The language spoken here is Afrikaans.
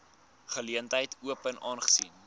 geleentheid open aangesien